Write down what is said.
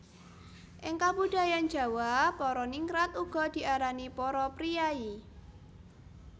Ing kabudayan Jawa para ningrat uga diarani para priyayi